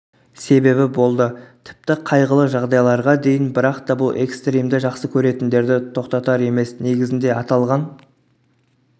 себебі болды тіпті қайғылы жағдайларға дейін бірақта бұл экстримді жақсы көретіндерді тоқтатар емес негізінді аталған